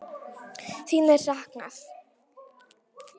Þín er saknað.